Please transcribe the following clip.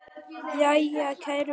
Jæja, kæru vinir.